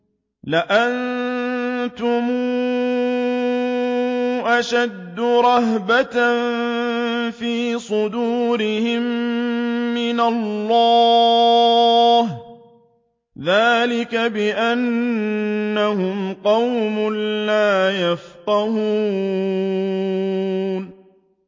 لَأَنتُمْ أَشَدُّ رَهْبَةً فِي صُدُورِهِم مِّنَ اللَّهِ ۚ ذَٰلِكَ بِأَنَّهُمْ قَوْمٌ لَّا يَفْقَهُونَ